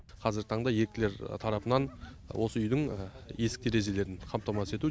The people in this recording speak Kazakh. қазіргі таңда еріктілер тарапынан осы үйдің есік терезелерін қамтамасыз ету